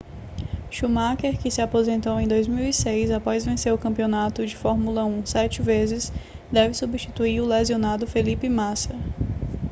schumacher que se aposentou em 2006 após vencer o campeonato de fórmula 1 sete vezes deve substituir o lesionado felipe massa